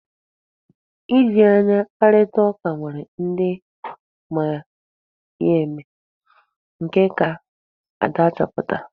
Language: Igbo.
Iji anya kparịtaa ụka nwere ndị ma ya eme. Nke a ka Ada chọpụtara.